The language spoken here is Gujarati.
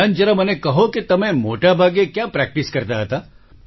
અમ્લાન જરા મને કહો કે તમે મોટાભાગે ક્યાં પ્રેક્ટિસ કરતા હતા